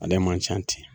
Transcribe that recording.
Ale man ca ten